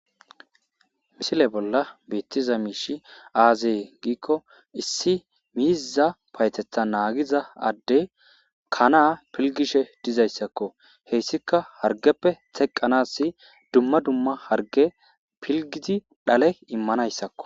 Misile bolla beettiza miishi aazee giikko issi miiza paytetha naagiza adde kanaa pilgishe dizayssakko heyssika hargeppe teqqanas dumma dumma harge pilgidi dhale immanayssakko